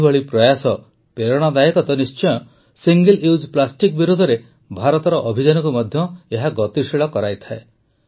ଏହିଭଳି ପ୍ରୟାସ ପ୍ରେରଣାଦାୟକ ତ ନିଶ୍ଚୟ ସିଙ୍ଗଲ ୟୁଜ୍ ପ୍ଲାଷ୍ଟିକ ବିରୋଧରେ ଭାରତର ଅଭିଯାନକୁ ମଧ୍ୟ ଏହା ଗତିଶୀଳ କରାଇଥାଏ